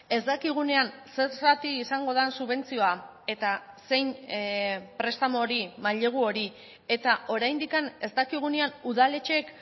ez dakigunean zer zati izango den subentzioa eta zein prestamu hori mailegu hori eta oraindik ez dakigunean udaletxeek